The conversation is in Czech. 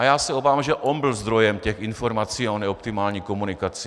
A já se obávám, že on byl zdrojem těch informací o neoptimální komunikaci.